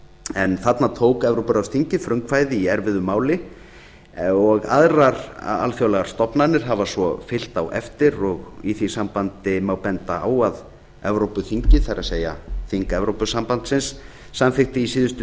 en þarna tók evrópuráðsþingið frumkvæði í erfiðu máli og aðrar alþjóðlegar stofnanir hafa svo fylgt á eftir og í því sambandi má benda á að evrópuþingið það er þing evrópusambandsins samþykkti í síðustu